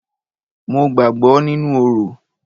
Mo gbàgbọ́ nínú orò.